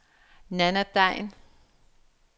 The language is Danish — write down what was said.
Nanna Degn